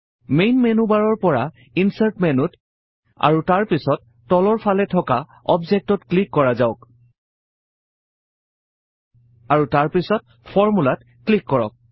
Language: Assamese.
মেইন মেনু বাৰৰ পৰা ইনচাৰ্ট মেনুত আৰু তাৰ পিছত তলৰ পালে থকা অৱজেক্টত ক্লিক কৰা যাওঁক আৰু তাৰ পিছত ফৰ্মূলাত ক্লিক কৰক